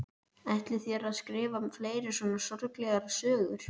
Ætlið þér að skrifa fleiri svona sorglegar sögur?